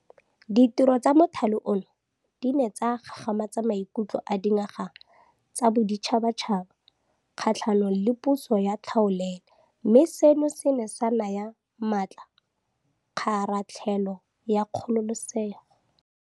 Ditiro tsa mothale ono di ne tsa gagamatsa maikutlo a dinaga tsa boditšhabatšhaba kgatlhanong le puso ya tlhaolele mme seno se ne sa naya maatla kgaratlhelo ya kgololesego.